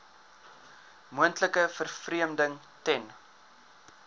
moontlike vervreemding ten